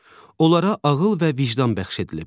Onlara ağıl və vicdan bəxş edilib.